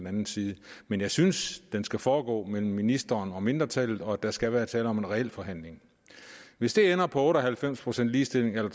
anden side men jeg synes at den skal foregå mellem ministeren og mindretallet og at der skal være tale om en reel forhandling hvis det ender på otte og halvfems procent ligestilling eller